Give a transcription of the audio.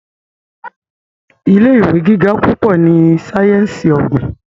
ilé ìwé gíga púpọ ní sáyẹnsì ogbin.